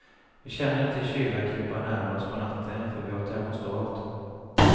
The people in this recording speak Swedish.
Vi känner inte kylan krypa närmre oss på natten, för vi har termostat.